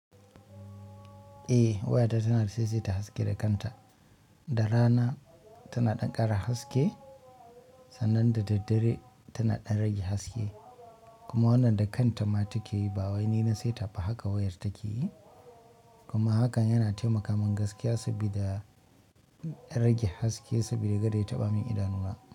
Eh wayata tanada saisaita haske da kanta, da rana tana dan kara haske sannan da daddare tana ɗan rage haske kuma wannan da kanta ma take yi ba wai ni na saita ba haka wayar take yi. Kuma hakan yana taimaka min gaskiya saboda rage haske saboda aɗa ya taɓa min idanuna.